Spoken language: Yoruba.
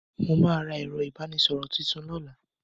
Mo ma ra ẹ̀rọ ìbánísọ̀rọ̀ tuntun lọ́la.